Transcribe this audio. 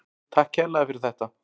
Takk kærlega fyrir þetta.